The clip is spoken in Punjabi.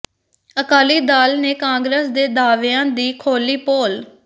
ਅਕਾਲੀ ਦਲ ਨੇ ਕਾਂਗਰਸ ਦੇ ਦਾਅਵਿਆਂ ਦੀ ਖੋਲ੍ਹੀ ਪੋਲ